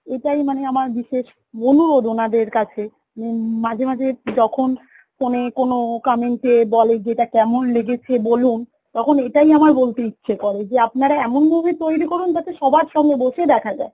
এটাই মানে আমার বিশেষ অনুরোধ ওনাদের কাছে যে মাঝে মাঝে যখন phone এ কোনো comment এ বলে যে এটা কেমন লেগেছে বলুন তখন এটাই আমার বলতে ইচ্ছে করে যে আপনারা এমন movie তৈরি করুন যাতে সবার সামনে বসে দেখা যায়